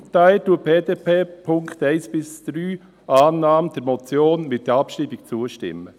Daher stimmt die BDP den Punkten 1–3, Annahme der Motion mit Abschreibung, zu.